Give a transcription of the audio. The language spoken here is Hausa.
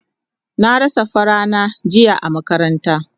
Na rasa safa na jiya a makaranta